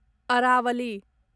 Aravalli